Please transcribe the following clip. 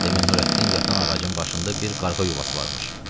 Demək Nurəddin yatan ağacın başında bir qarğa yuvası varmış.